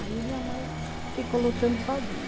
Aí minha mãe ficou lutando sozinha.